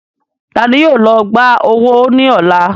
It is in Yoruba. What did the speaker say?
Taani yóò lọ gbà owó ní ọ̀la?